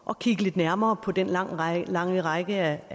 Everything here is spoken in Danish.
at kigge lidt nærmere på den lange række lange række